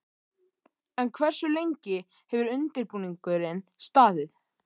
En hversu lengi hefur undirbúningurinn staðið?